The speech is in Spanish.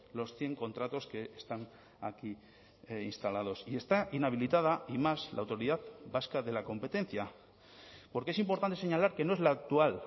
los cien contratos que están aquí instalados y está inhabilitada y más la autoridad vasca de la competencia porque es importante señalar que no es la actual